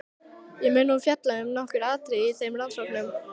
Ég mun nú fjalla um nokkur atriði í þeim rannsóknum.